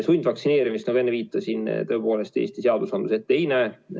Sundvaktsineerimist, nagu enne viitasin, tõepoolest Eesti seadusandlus ette ei näe.